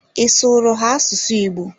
Ị sụụrụ ha asụsụ Igbo?